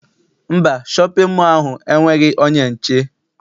Mba, shọpịn mọọ ahụ enweghị onye nche.